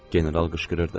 General qışqırırdı.